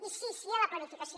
i sí sí a la planificació